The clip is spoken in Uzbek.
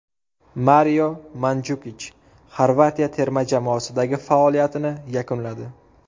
Mario Manjukich Xorvatiya terma jamoasidagi faoliyatini yakunladi.